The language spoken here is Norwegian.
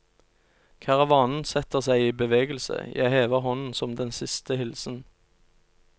Karavanen setter seg i bevegelse, jeg hever hånden som den siste hilsen.